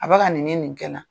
A bɛ ka nin nin kɛ n na.